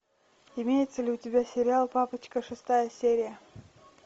имеется ли у тебя сериал папочка шестая серия